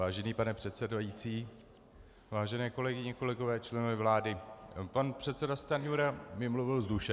Vážený pane předsedající, vážené kolegyně, kolegové, členové vlády, pan předseda Stanjura mi mluvil z duše.